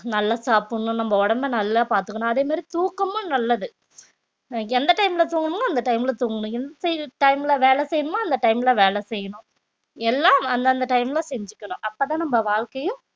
நல்லா சாப்பிடணும் நம்ம உடம்பை நல்லா பாத்துக்கணும் அதே மாரி தூக்கமும் நல்லது அஹ் எந்த time ல தூங்கணுமோ அந்த time ல தூங்கணும் எந்த time ல வேலை செய்யணுமா அந்த time ல வேலை செய்யணும் எல்லாம் அந்தந்த time ல செஞ்சுக்கணும் அப்பதான் நம்ம வாழ்க்கையும்